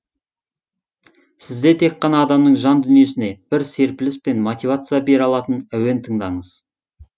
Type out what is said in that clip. сізде тек қана адамның жан дүниесіне бір серпіліс пен мотивация бере алатын әуен тыңдаңыз